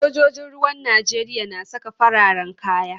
Sojojin ruwan Najeriya na saka fararen kaya.